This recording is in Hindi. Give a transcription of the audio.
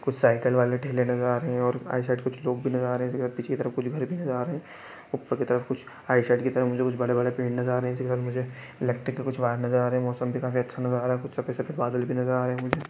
कुछ सैकल वाले ठेले नज़र आ रहे हैं और साइड साइड कुछ लोग भी नज़र आ रहे है इसके पीछे के तरफ कुछ घर भी नज़र आ रहे है उप्पर की तरफ कुछ साइड साइड की तरफ मुझे कुछ बड़े-बड़े पेड़ नज़र आ रहे है जिधर मुझे इलेक्ट्रि के कुछ व्हेयर नज़र आ रहे है मौसम भी काफी अच्छा नजारा है कुछ सफेद-सफेद बदल भी नज़र आ रहे है मुझे--